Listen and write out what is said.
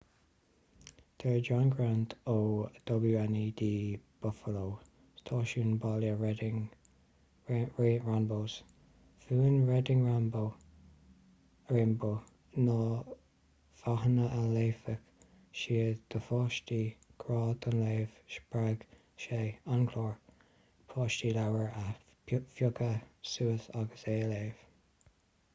deir john grant ó wned buffallo stáisiún baile reading ranbow's mhúin reading rainbow na fáthanna a léifeadh siad do pháistí,... grá don léamh — spreag sé [an clár] páistí leabhar a phiocadh suas agus é a léamh.